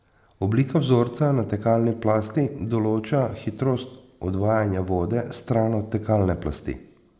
Oblika vzorca na tekalni plasti določa hitrost odvajanja vode stran od tekalne plasti.